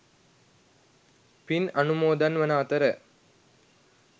පින් අනුමෝදන් වන අතර